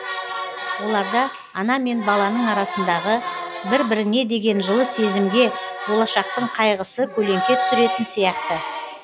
оларда ана мен баланың арасындағы бір біріне деген жылы сезімге болашақтың қайғысы көлеңке түсіретін сияқты